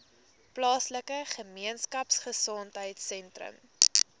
plaaslike gemeenskapgesondheid sentrum